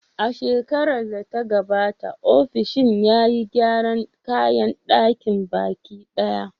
A shekarar da ta gabata, ofishin ya yi gyaran kayan ɗakin baki ɗaya.